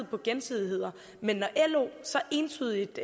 på gensidighed men når lo så entydigt